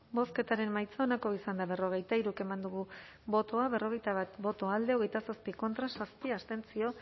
bozketaren emaitza onako izan da berrogeita hiru eman dugu bozka berrogeita bat boto alde hogeita zazpi contra zazpi abstentzio